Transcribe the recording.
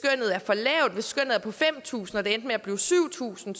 skønnet er på fem tusind og det endte med at blive syv tusind